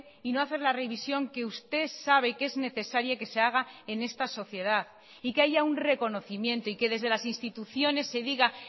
y no hacer la revisión que usted sabe que es necesaria que se haga en esta sociedad y que haya un reconocimiento y que desde las instituciones se diga